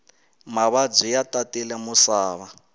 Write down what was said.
mavabyi ya tatile musava